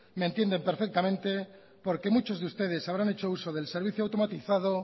me entienden perfectamente porque muchos de ustedes habrán hecho uso del servicio automatizado